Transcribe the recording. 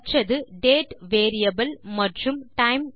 மற்றது டேட் மற்றும் டைம்